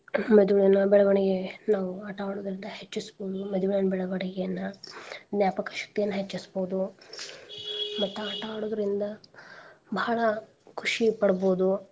ಮೆದುಳಿನ ಬೆಳ್ವಣಿಗೆಗೆ ನಾವು ಆಟಾ ಆಡೋದ್ರಿಂದ ಹೆಚ್ಚಸ್ಬೋದು ಮೆದುಳಿನ ಬೆಳ್ವಣಿಗೆಯನ್ನ ಜ್ಞಾಪಕ ಶಕ್ತಿಯನ್ನ ಹೆಚ್ಚಸ್ಬೋದು ಮತ್ತ ಆಟಾ ಆಡೋದ್ರಿಂದ ಭಾಳ ಖುಷಿ ಪಡ್ಬೋದು.